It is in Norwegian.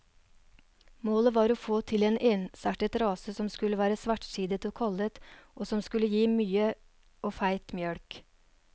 Målet var å få til en ensartet rase som skulle være svartsidet og kollet, og som skulle gi både mye og feit mjølk.